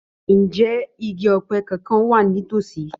Ǹjẹ́ igi ọ̀pẹ kankan wà ní tòsí?